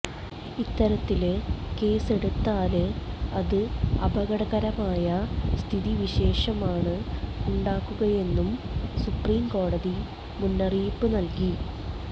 ഇത്തരത്തില് കേസ് എടുത്താല് അത് അപകടകരമായ സ്ഥിതിവിശേഷമാണ് ഉണ്ടാക്കുകയെന്നും സുപ്രീം കോടതി മുന്നറിയിപ്പ് നല്കി